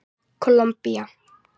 Kólumbía